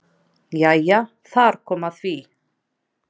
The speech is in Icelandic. Jæja þar kom að því!